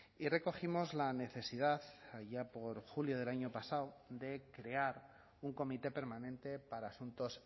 y recogimos la necesidad allá por julio del año pasado de crear un comité permanente para asuntos